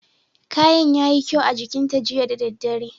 Kayan yayi kyau a jikin ta jiya da dare.